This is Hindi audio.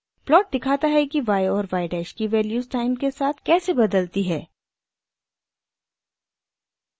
प्लॉट दिखाता है कि y और y डैश की वैल्यूज़ टाइम के साथ कैसे बदलती है